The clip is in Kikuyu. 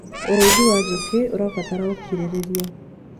ũrĩithi wa njũũkĩ ũrabatara ũũkĩririria